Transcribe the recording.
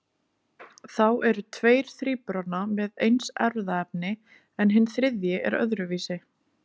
Þá eru tveir þríburana með eins erfðaefni en hinn þriðji er öðruvísi.